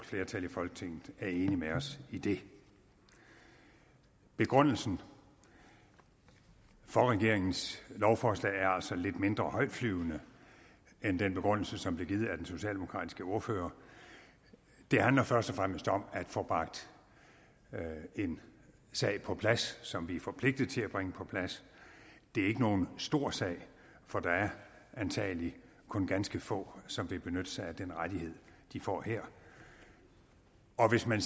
flertal i folketinget er enige med os i det begrundelsen for regeringens lovforslag er altså lidt mindre højtflyvende end den begrundelse som blev givet af den socialdemokratiske ordfører det handler først og fremmest om at få bragt en sag på plads som vi er forpligtet til at bringe på plads det er ikke nogen stor sag for der er antagelig kun ganske få som vil benytte sig af den rettighed de får her og hvis man